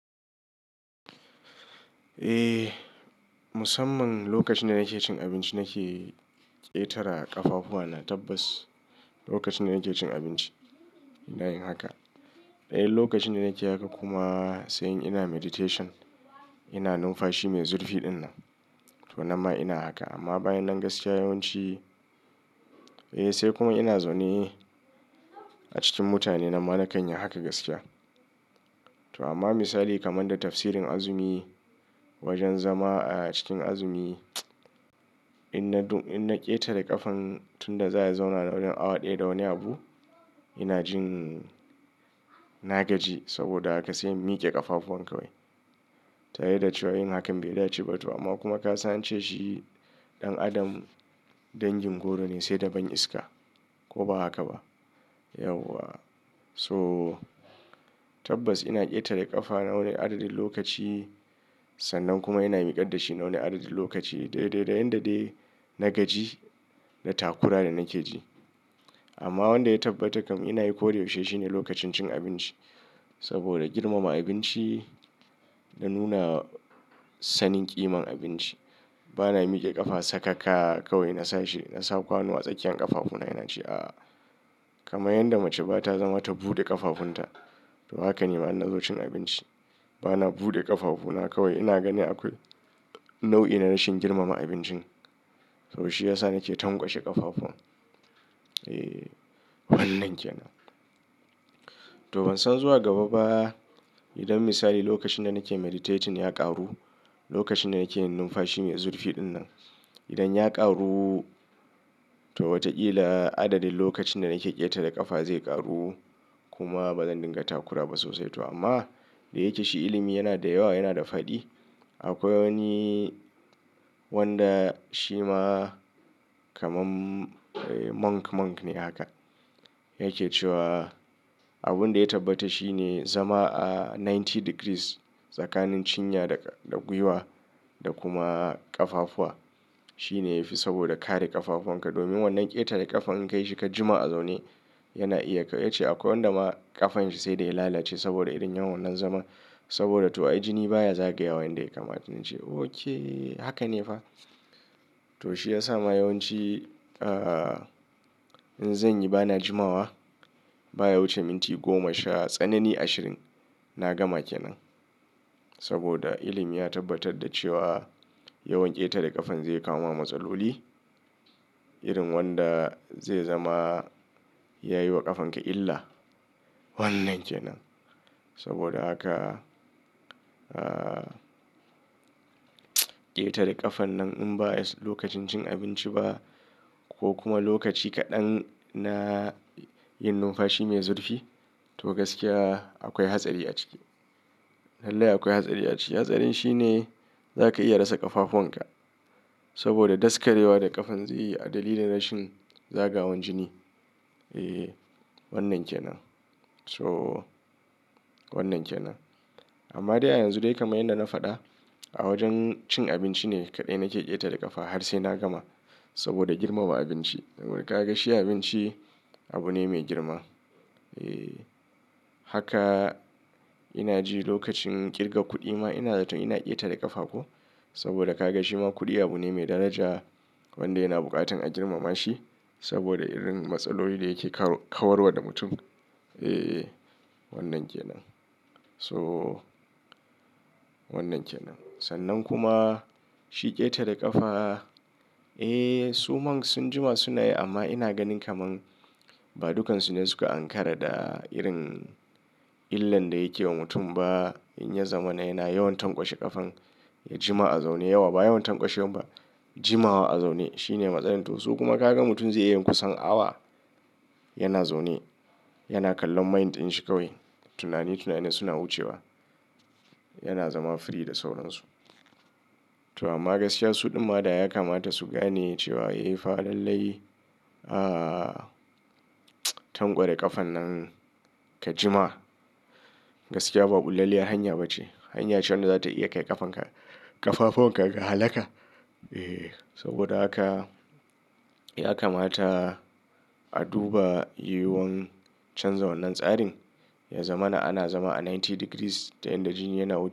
Eh, musamman lokacin da nake cin abinci nake ƙetara ƙafafuwana tabbas. Lokacin da nake cin abinci ina yin haka. E Lokacin da nake haka kuma sai in ina meditation ina numfashi mai zufi dinnan to nan ma ina haka amma bayan nan gaskiya yawanci eh sai kuma ina zaune a cikin mutane nanma nakan yi haka gaskiya to amma misali kaman da tafsirin azumi wajen zama a cikin azumi in na dun-- in na ƙetare ƙafan tun da za a zauna na wurin awa ɗaya da wani abu ina jin na gaji saboda haka sai in mike ƙafafuwan ka wai. Tare da cewa yin hakan bai dace ba to amma kuma ka san ance shi ɗan adam dangin goro ne sai da ban iska ko ba haka ba? Yauwa. So tabbas ina ƙetare ƙafa na wani adadin lokaci sannan kuma ina miƙar da shi na wani adadin lokaci. Dai dai da yanda dai na gaji da takura da nake ji. Amma wanda ya tabbatar kam ina yi ko da yaushe shine lokacin cin abinci. Saboda girmama abinci da nuna sanin ƙiman abinci. Bana mike ƙafa sakaka kawai na sa shi, na sa kwano a tsakiyar ƙafafuna ina ci a. Kaman yanda mace ba ta zama ta buɗe ƙafafunta to haka ni ma in na zo cin abinci. Bana buɗe ƙafafu na kawai ina ganin akwai nau'i na rashin girmama abincin. To shi ya sa nake tankwashe ƙafafun. Eh wannan ke nan. To ban san zuwa gaba ba idan misali lokacin da nake meditating ya ƙaru, lokacin da nake numfashi mai zurfi dinnan idan ya ƙaru to watakila adadin lokacin da nake ƙetare ƙafa zai ƙaru kuma bazan dinga takura ba sosai to. Amma da yake shi ilimi yana da yawa yana da faɗi. Akwai wani wanda shi ma kaman monk monk ne haka. Yake cewa abunda ya tabbata shine zama a ninety degrees tsakanin cinya da-da gwiwa da kuma ƙafafuwa. Shine yafi saboda kare ƙafafuwan ka. Domin wannan ƙetare ƙafa in ka yi shi ka jima a zaune yana iya ya ce akwai wanda ma ƙafan shi sai da ya lalace saboda irin yin wannan zaman. Saboda to ai jini baya zagayawa yanda ya kamata. Nace oke haka ne fa? To shi ya sa ma yawanci ah in zanyi bana jimawa baya wuce minti goma sha tsanani ashirin na gama ke nan. Saboda ilimi ya tabbatar da cewa yawan ƙetare ƙafan zai kawo wa matsaloli irin wanda zai zama yayi wa ƙafan ka illa. Wannan ke nan. Saboda haka a ƙetare ƙafa nan in ba lokacin cin abinci ba ko kuma lokaci kaɗan na yin numfashi mai zurfi to gaskiya akwai hatsari a ciki. Lallai akwai hatsari a ciki. Hatsarin shine zaka iya rasa ƙafafuwan ka. Saboda daskarewa da ƙafan zai yi a dalilin rashin zagawan jini. Eh wannan ke nan. To wannan ke nan. Amma dai a yanzu dai kaman yanda na faɗa a wajen cin abinci ne kaɗai nake ƙetare ƙafa har sai na gama. Saboda girmama abinci. Domin ka ga shi abinci abu ne mai girma. Eh haka ina ji lokacin ƙirga kuɗi ma ina zaton ina ƙetare ƙafa ko? Saboda ka ga shi ma kuɗi abu ne mai daraja wanda yana buƙatan a girmama shi saboda irin matsaloli da yake kawar-kawarwa da mutum. Eh wannan ke nan. To wannan ke nan. Sannan kuma shi ƙetare ƙafa. Eh su monk sun jima suna yi amma ina ganin kaman ba dukansu ne suka ankara da irin illan da yake wa mutum ba. In ya zama na yana yawan tankwashe ƙafan ya jima a zaune yawa. Ba yawan tankwashe wan ba jimawa a zaune shine matsalar. To su kuma ka ga mutum zai iya yin kusan awa yana zaune yana kallon mind ɗin shi kawai. Tunani tunani suna wucewa. Yana zama free da sauransu. To amma gaskiya su ɗin ma da ya kamata su gane cewa eh fa lallai a tankware ƙafan nan ka jima gaskiya ba bullalliyar hanya ba ce. Hanya ce wanda zata iya kai ƙafan ka ƙafafuwan ka ga halaka. Eh saboda haka ya kamata a duba yiyuwan canza wannan tsarin. Ya zama na ana zama a ninety degrees da yan da jini yana wucewa.